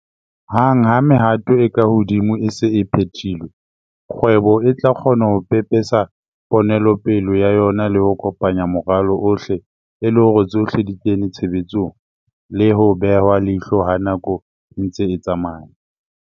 Hang ha mehato e ka hodimo e se e phethilwe, kgwebo e tla kgona ho pepesa ponelopele ya yona le ho kopanya moralo ohle e le hore tsohle di kene tshebetsong le ho behwa leihlo ha nako e ntse e tsamaya.